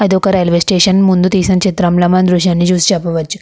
అదొక railway station ముందు తీసిన చిత్రంలా మనం ఈ దృశ్యాన్నిచూసి చెప్పవచ్చు.